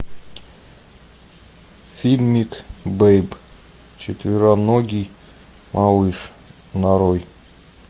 фильмик бэйб четвероногий малыш нарой